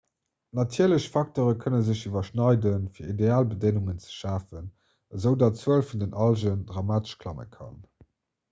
natierlech facteure kënne sech iwwerschneiden fir ideal bedéngungen ze schafen esoudatt d'zuel vun den algen dramatesch klamme kann